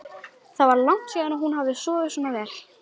Það var langt síðan hún hafði sofið svona vel.